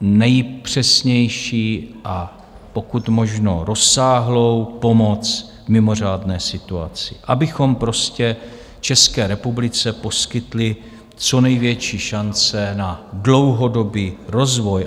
nejpřesnější a pokud možno rozsáhlou pomoc v mimořádné situaci, abychom prostě České republice poskytli co největší šance na dlouhodobý rozvoj.